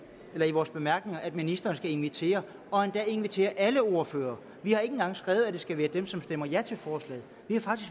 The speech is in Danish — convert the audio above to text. vores bemærkninger her at ministeren skal invitere og endda invitere alle ordførere vi har ikke engang skrevet at det skal være dem som stemmer ja til forslaget